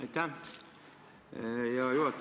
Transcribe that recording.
Aitäh, hea juhataja!